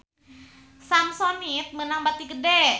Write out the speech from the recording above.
Samsonite meunang bati gede